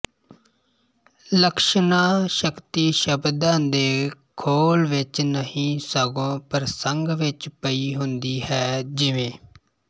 ਲਕਸ਼ਣਾ ਸ਼ਕਤੀ ਸਬਦਾਂ ਦੇ ਖੋਲ ਵਿੱਚ ਨਹੀਂ ਸਗੋਂ ਪ੍ਰਸੰਗ ਵਿੱਚ ਪਈ ਹੁੰਦੀ ਹੈ ਜਿਵੇਂ